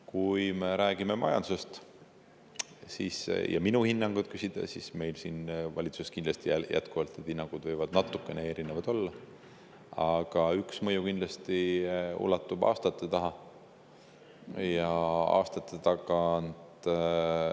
Kui me räägime majandusest ja te minu hinnangut küsite, siis need hinnangud võivad natukene erinevad olla, aga üks mõju ulatub meieni kindlasti aastate tagant.